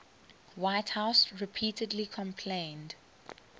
whitehouse repeatedly complained